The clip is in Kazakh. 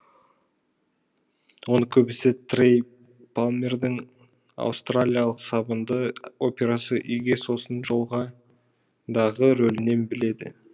оны көбісі трей палмердің аустралиялық сабынды операсы үйге сосын жолға дағы рөлінен біледі